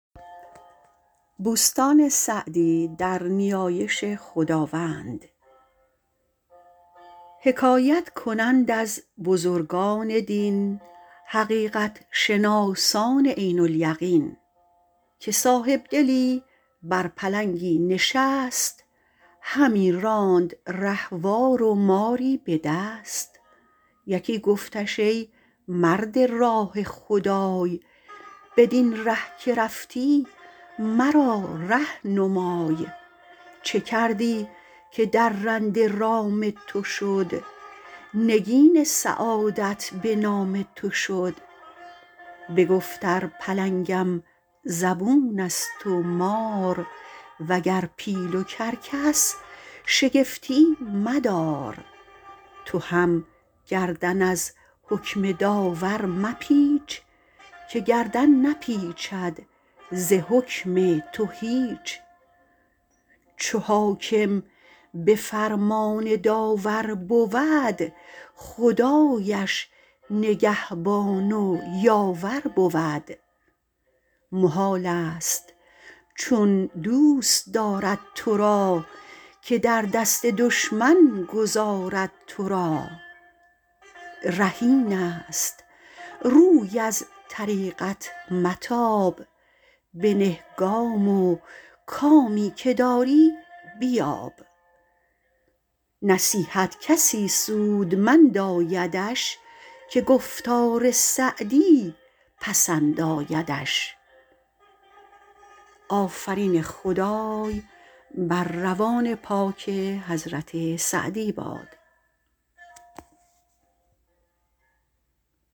حکایت کنند از بزرگان دین حقیقت شناسان عین الیقین که صاحبدلی بر پلنگی نشست همی راند رهوار و ماری به دست یکی گفتش ای مرد راه خدای بدین ره که رفتی مرا ره نمای چه کردی که درنده رام تو شد نگین سعادت به نام تو شد بگفت ار پلنگم زبون است و مار وگر پیل و کرکس شگفتی مدار تو هم گردن از حکم داور مپیچ که گردن نپیچد ز حکم تو هیچ چو حاکم به فرمان داور بود خدایش نگهبان و یاور بود محال است چون دوست دارد تو را که در دست دشمن گذارد تو را ره این است روی از طریقت متاب بنه گام و کامی که داری بیاب نصیحت کسی سودمند آیدش که گفتار سعدی پسند آیدش